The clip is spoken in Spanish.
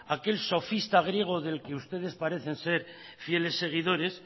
aquel sofista griego del que ustedes parecen ser fieles seguidores